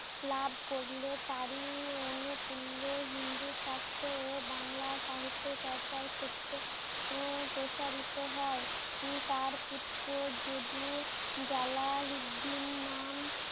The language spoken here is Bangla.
লাভ করলে তারি অনুকুল্লো হিন্দু শাস্ত্র ও বাংলা সাহিত্য চর্চার ক্ষেত্রে ও প্রসারিত হয় তার পুত্র জুদু জালালুদ্দিন নাম